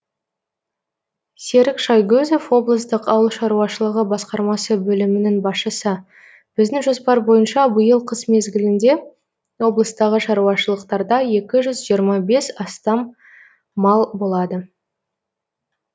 серік шайгөзов облыстық ауыл шаруашылығы басқармасы бөлімінің басшысы біздің жоспар бойынша биыл қыс мезгілінде облыстағы шаруашылықтарда екі жүз жиырма бес мыңнан астам мал болады